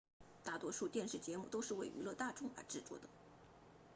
大多数电视节目都是为娱乐大众而制作的